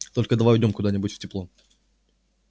только давай уйдём куда-нибудь в тепло